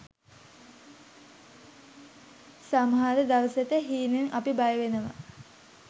සමහර දවසට හීනෙන් අපි බය වෙනවා.